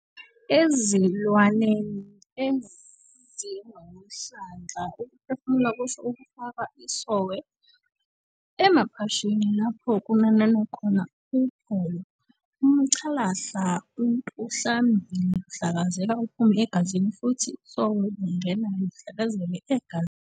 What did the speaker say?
Ezilwaneni ezinomhlandla ukuphefumula kusho ukufaka isOhwe emaphashini lapho kunanana khona uhowo, umCalahle ontuhlambili uhlakazeka uphume egazini, futhi isOhwe lungena luhlakazeke egazini.